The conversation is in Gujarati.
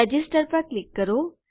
રજિસ્ટર પર ક્લિક કરો